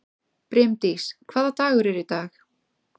Brimdís, hvaða dagur er í dag?